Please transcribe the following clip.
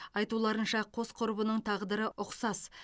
айтуларынша қос құрбының тағдыры ұқсас